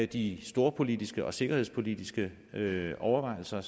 de storpolitiske og sikkerhedspolitiske overvejelser